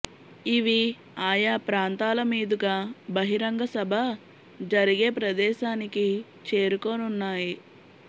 ఇవి ఆయా ప్రాంతాల మీదుగా బహిరంగ సభ జరిగే ప్రదేశానికి చేరుకోనున్నాయి